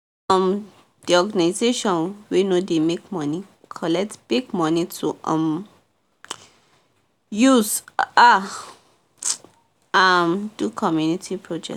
um the organization wey no dey make money collect big money to um use um um do community project